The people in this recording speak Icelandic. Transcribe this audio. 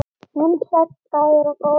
Vinsæll staður og góð aðstaða